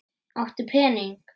Áttu pening?